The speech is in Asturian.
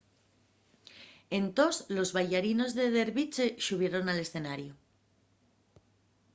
entós los baillarinos de derviche xubieron al escenariu